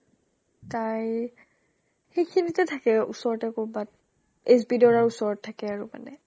তাই ই সিখিনিতে থাকে অ ওচৰতে ক'ৰবাত HBদেউৰাৰ ওচৰত থাকে আৰু মানে